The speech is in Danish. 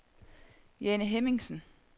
Jane Hemmingsen